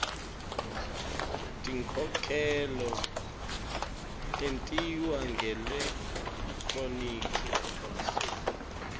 tinkhokhelo tentiwa ngelekthroniki